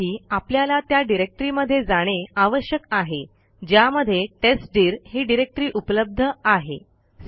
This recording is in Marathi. त्यासाठी आपल्याला त्या डिरेक्टरीमध्ये जाणे आवश्यक आहे ज्यामध्ये टेस्टदीर ही डिरेक्टरी उपलब्ध आहे